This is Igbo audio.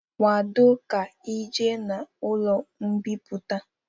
Kwado ka ị ejee n'ụlọ mbipụta!